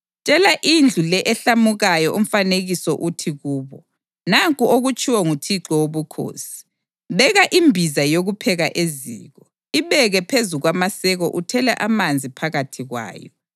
Tshela indlu le ehlamukayo umfanekiso uthi kubo: ‘Nanku okutshiwo nguThixo Wobukhosi: Beka imbiza yokupheka eziko; ibeke phezu kwamaseko uthele amanzi phakathi kwayo.